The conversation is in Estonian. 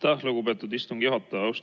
Aitäh, lugupeetud istungi juhataja!